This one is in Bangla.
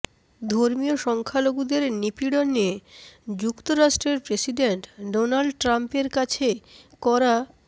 ধর্মীয় সংখ্যালঘুদের নিপীড়ন নিয়ে যুক্তরাষ্ট্রের প্রেসিডেন্ট ডোনাল্ড ট্রাম্পের কাছে করা